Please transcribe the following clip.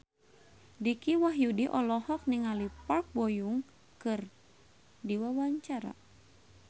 Dicky Wahyudi olohok ningali Park Bo Yung keur diwawancara